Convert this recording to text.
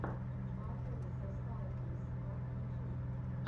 батл зэ сталкер сквад ютюб